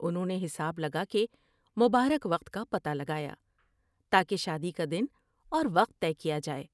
انھوں نے حساب لگا کے مبارک وقت کا پتہ لگایا تا کہ شادی کا دن اور وقت طے کیا جاۓ ۔